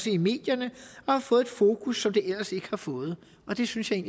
i medierne og har fået et fokus som det ellers ikke har fået og det synes jeg